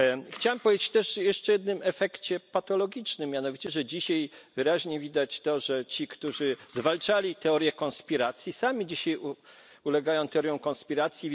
Chciałem powiedzieć też jeszcze o jednym efekcie patologicznym, mianowicie, że dzisiaj wyraźnie widać to, że ci, którzy zwalczali teorię konspiracji, sami dzisiaj ulegają teoriom konspiracji.